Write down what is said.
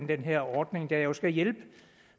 den her ordning der jo skal hjælpe